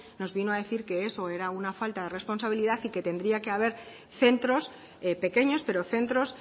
nos vino a decir que eso era una falta de responsabilidad y que tendría que haber centros pequeños pero centros